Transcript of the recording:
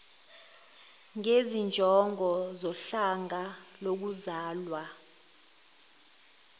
ngezinjongo zohlanga lokuzalwa